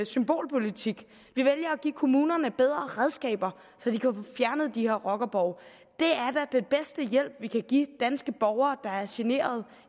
symbolpolitik vi vælger at give kommunerne bedre redskaber så de kan få fjernet de her rockerborge det er da den bedste hjælp vi kan give danske borgere der er generet